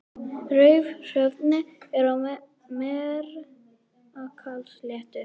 Raufarhöfn er á Melrakkasléttu.